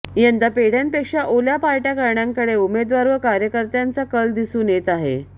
यंदा पेढ्यांपेक्षा ओल्या पार्ट्या करण्याकडे उमेदवार व कार्यकर्त्यांचा कल दिसून येत आहे